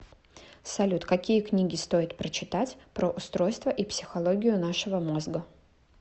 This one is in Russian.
салют какие книги стоит прочитать про устройство и психологию нашего мозга